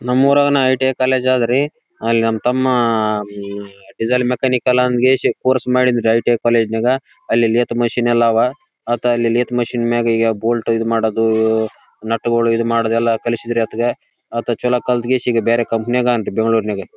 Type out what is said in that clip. ನಮ್ಮೂರಗುನು I T I college ಅದರೀ. ಅಲ್ಲಿ ನಮ್ಮ ತಮ್ಮ ಡಿಸೇಲ್ ಮೆಕ್ಯಾನಿಕಲ್ ಅಂತ ಕೇಶಿ ಕೋರ್ಸ್ ಮಾಡಿನ್ರಿ ಐ ಟಿ ಐ ಕಾಲೇಜು ನ್ಯಾಗ. ಅಲ್ಲಿ ಲೇಟ್ ಮಷೀನ್ ಯಲ್ಲ ಅವ. ಆತ ಅಲ್ಲಿ ಲೇಟ್ ಮಷಿನ್ ಮ್ಯಾಗ ಯ ಬೋಲ್ಟ್ ಇದು ಮಾಡೋದು ನೆಟ್ ಗೊಳ್ ಇದ ಮಾಡೋದು ಎಲ್ಲ ಕಳಿಸಿದ್ರಿ ಆತಗ. ಆತ ಚಲೋ ಕಲಾಟಗೇಶಿ ಬೇರೆ ಕಂಪನಿ ನ್ಯಾಗ್ ಅಂತ ಬೆಂಗಳೂರ್ ನ್ಯಾಗ.